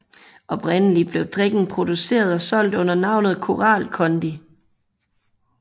Oprindeligt blev drikken produceret og solgt under navnet Koral Kondi